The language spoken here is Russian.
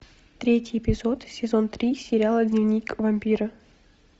третий эпизод сезон три сериала дневник вампира